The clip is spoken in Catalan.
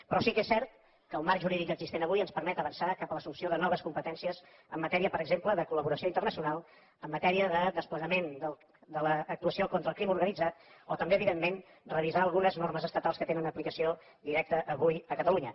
però sí que és cert que el marc jurídic existent avui ens permet avançar cap a l’assumpció de noves competències en matèria per exemple de collaboració internacional en matèria de desplegament de l’actuació contra el crim organitzat o també evidentment revisar algunes normes estatals que tenen aplicació directa avui a catalunya